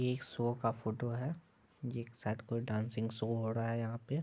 एक शो का फोटो है ये एक शायद डांसिंग शो हो रहा है यहाँ पे--